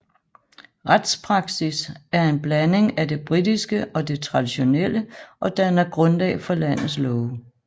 Retspraksis er en blanding af det britiske og det traditionelle og danner grundlag for landets love